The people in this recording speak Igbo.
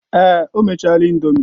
Èè, o mechaala indomie.